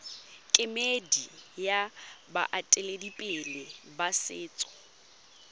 kemedi ya baeteledipele ba setso